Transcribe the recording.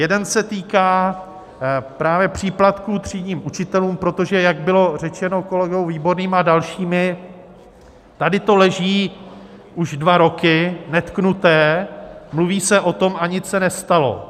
Jeden se týká právě příplatků třídním učitelům, protože jak bylo řečeno kolegou Výborným a dalšími, tady to leží už dva roky netknuté, mluví se o tom, a nic se nestalo.